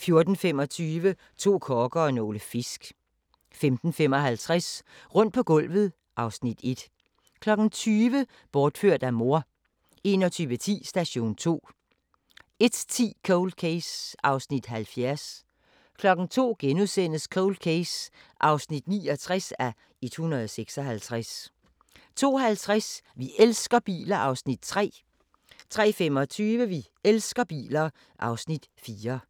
14:25: To kokke og nogle fisk 15:55: Rundt på gulvet (Afs. 1) 20:00: Bortført af mor 21:10: Station 2 01:10: Cold Case (70:156) 02:00: Cold Case (69:156)* 02:50: Vi elsker biler (Afs. 3) 03:25: Vi elsker biler (Afs. 4)